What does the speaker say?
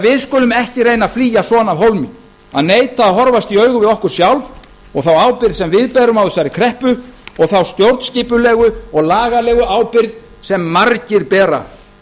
við skulum ekki reyna að flýja svona af hólmi að neita að horfast í augu við okkur sjálf og þá ábyrgð sem við berum á þessari kreppu og þá stjórnskipulegu og lagalegu ábyrgð sem margir bera